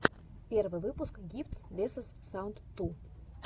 первый выпуск гифтс весос саунд ту